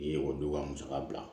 U ye o duba musaka bila